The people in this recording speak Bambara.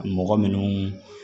Mɔgɔ minnu